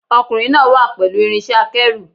Ọkùnrin náà wà pẹ̀lú irinṣẹ́-akẹ́rù.